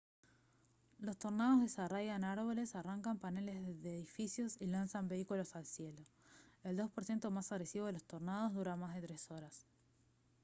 los tornados desarraigan árboles arrancan paneles de los edificios y lanzan vehículos al cielo. el 2 % más agresivo de los tornados dura más de tres horas